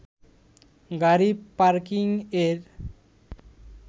গাড়ি পার্কিংয়ের